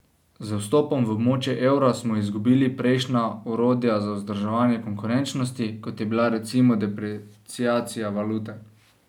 Z vstopom v območje evra smo izgubili prejšnja orodja za vzdrževanje konkurenčnosti, kot je bila recimo depreciacija valute.